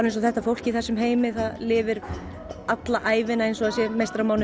eins og þetta fólk í þessum heimi lifir alla ævina eins og það sé